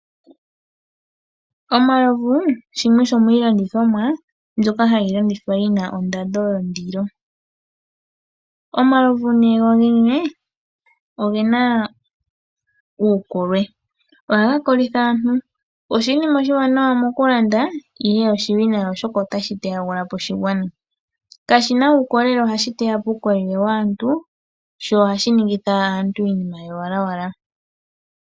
Omalovu shimwe shomiilandithomwa mbyoka hayi landithwa yi na ondando yondilo. Omalovu gogene oge na uukolwe. Ohaga kolitha aantu. Oshinima oshiwanawa mokulanda, ihe oshiwinayi, oshoka otashi teyagula po oshigwana. Kashi na uukolelele, ohashi teya po waantu, sho ohashi ningitha aantu iinima yowalawala.